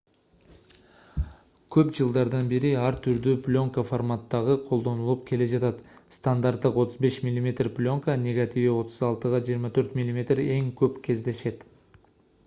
көп жылдардан бери ар түрдүү плёнка форматтары колдонулуп келе жатат. стандарттык 35 мм плёнка негативи 36*24 мм эң көп кездешет